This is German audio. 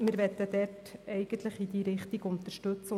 Wir wollen in diese Richtung unterstützen.